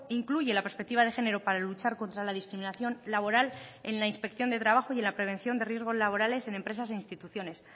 incluye la perspectiva de género para luchar contra la discriminación laboral en la inspección de trabajo y en la prevención de riesgos laborales en empresas e instituciones